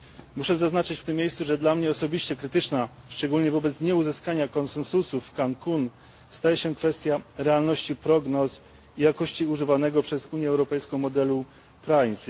Muszę zaznaczyć w tym miejscu, że dla mnie osobiście krytyczna szczególnie wobec nieuzyskania konsensusu w Cancun staje się kwestia realności prognoz i jakości używanego przez Unię Europejską modelu primes